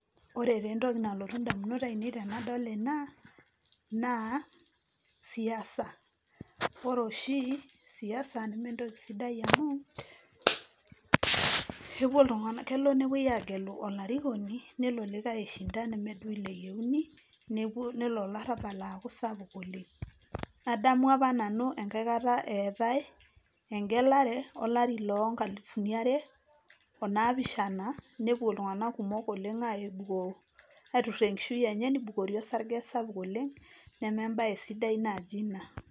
Ore taa entoki nalotu indamunot ainei tenadol ena, naa siasa. Ore oshi siasa neme entoki sidai amu kelo nepoi aagelu olarikoni nelo likae aishinda neme ilo duo eyiouni nelo olarabak aaku sapuk oleng'. Adamu apa nanu enkae kata etae egelare olari loo nkalifuni are o naa pishana nepuo iltunganak kumok oleng' aituraa enishui enye nibukori orsage sapuk oleng' neme embae sidai naaji ina.